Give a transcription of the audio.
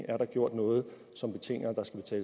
er gjort noget som betinger